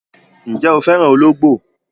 Ǹjẹ́ o fẹ́ràn olóńgbò?